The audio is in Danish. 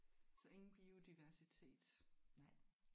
Så ingen biodiversitet?